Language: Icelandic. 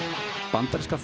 bandaríska